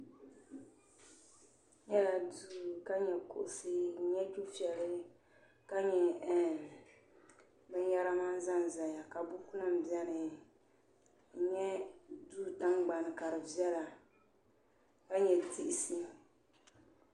n nyɛla duu ka nyɛ kuɣusi n nyɛ dufɛli ka nyɛ binyɛra mani ʒɛnʒɛya ka buku nim biɛni n nyɛ duu tingbani ka di viɛla ka nyɛ diɣisi